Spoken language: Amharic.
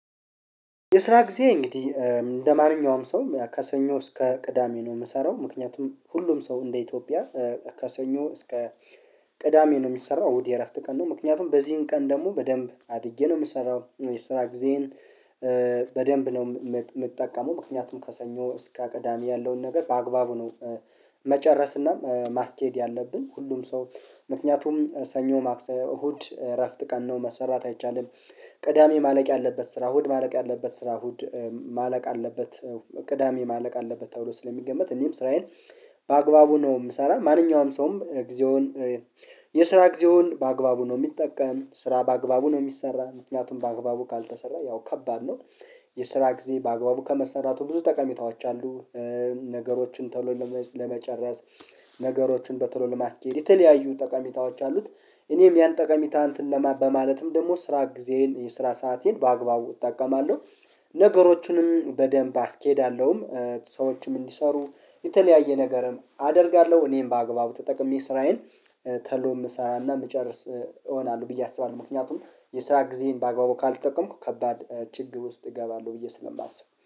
የስራ ጊዜ እንግዲህ እንደማንኛውም ሰው ከሰኞ እስከ ቅዳሜ ነው የምሰራው ምክንያቱም ሁሉም ሰው እንደ ኢትዮጵያ ከሰኞ እስከ ቅዳሜ ነው የሚሰራው። እሁድ የእረፍት ቀን ነው። ምክንያቱም በዚህን ቀን ደግሞ በደንብ አድርጌ ነው የምሰራው። የስራ ጊዜን በደንብ ነው የምጠቀመው ምክንያቱም ከሰኞ እስከ ቅዳሜ ያለውን ነገር በአግባቡ ነው። መጨረስናም ማስኬድ ያለብን ሁሉም ሰው ምክንያቱም ሰኞ ማክሰው እሁድ እረፍት ቀን ነው መሰራት አይቻልም። ቅዳሜ ማለቅ ያለበት ስራ እሁድ ማለቅ ያለበት ስራ እሁድ ማለቅ አለበት። ቅዳሜ ማለቅ አለበት ተብሎ ስለሚገመት እኔም ስራዬን በአግባቡ ነው የምሰራው። ማንኛውም ሰውም ጊዜውን የስራ ጊዜውን በአግባቡ ነው የሚጠቀም ስራ በአግባቡ ነው የሚሰራው ምክንያቱም በአግባቡ ካልተሰራ ያው ከባድ ነው። የስራ ጊዜ በአግባቡ ከመሰራቱ ብዙ ጠቀሚታዎች አሉ። ነገሮችን ቶሎ ለመጨረስ ነገሮችን በቶሎ ለማስኬድ የተለያዩ ጠቃሚታዎች አሉት። እኔም ያን ጠቀሚታ እንትን ለማ በማለትም ደግሞ ስራ ጊዜዬን የስራ ሰአቴን በአግባቡ እጠቀማለሁ። ነገሮቹንም በደንብ አስኬዳለሁም ሰዎችም እንዲሰሩ የተለያየ ነገርም አደርጋለሁ። እኔም በአግባቡ ተጠቅሜ ስራዬን ተሎ የምሰራና የምጨርስ እሆናለሁ ብዬ አስባለሁ። ምክንያቱም የስራ ጊዜዬን በአግባቡ ካልተጠቀምኩ ከባድ ችግር ውስጥ እገባለሁ ብዬ ስለማስብ